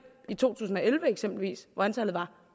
i to tusind og elleve eksempelvis hvor antallet var